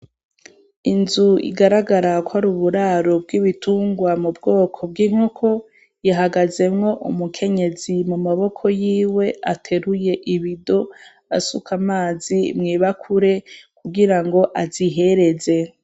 Inzu igaragara ko ari ubwaro bw'ibitungwa m'ubwoko bw'inkoko, ihagazemwo umukenyezi mu maboko yiwe ateruye ibido asuka amazi mw'ibakure kugira ngo azihereze.